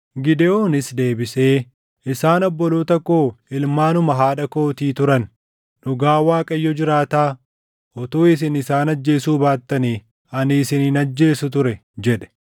Gidewoonis deebisee, “Isaan obboloota koo ilmaanuma haadha kootii turan. Dhugaa Waaqayyo jiraataa, utuu isin isaan ajjeesuu baattanii ani isin hin ajjeesu ture” jedhe.